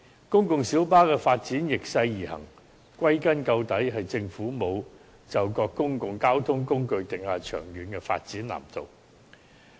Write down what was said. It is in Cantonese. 公共小巴發展逆勢而行，歸根結底，便是政府沒有就各公共交通工具訂下長遠的發展藍圖。